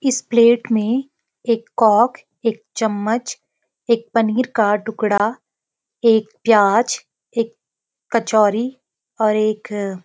इस प्लेट मे एक कॉक एक चम्मच एक पनीर का टुकड़ा एक प्याज एक कचौरी और एक --